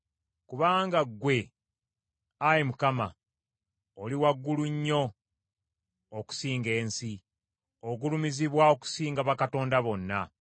Kubanga ggwe, Ayi Mukama , oli waggulu nnyo okusinga ensi; ogulumizibwa okusinga bakatonda bonna.